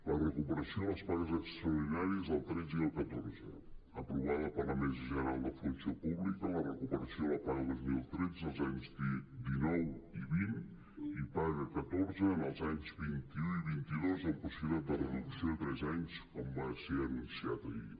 la recuperació de les pagues extraordinàries del tretze i el catorze aprovada per la mesa general de la funció pública la recuperació de la paga de dos mil tretze als anys dinou i vint i paga del catorze en els anys vint un i vint dos amb possibilitat de reducció a tres anys com va ser anunciat ahir